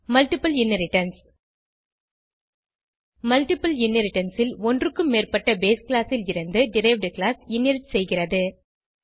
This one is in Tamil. மல்ட்டிபிள் இன்ஹெரிடன்ஸ் மல்ட்டிபிள் இன்ஹெரிடன்ஸ் ல் ஒன்றுக்கும் மேற்பட்ட பேஸ் கிளாஸ் லிருந்து டெரைவ்ட் கிளாஸ் இன்ஹெரிட் செய்கிறது